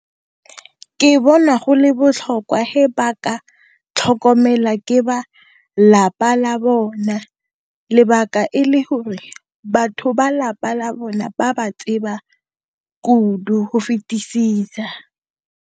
Ke bona go le botlhokwa he ba ka tlhokomelwa ke ba lapa la bona, lebaka ke gore batho ba lapa la bone ba ba tseba kudu ho fetesisa.